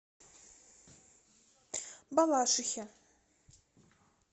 балашихе